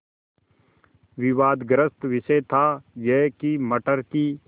विवादग्रस्त विषय था यह कि मटर की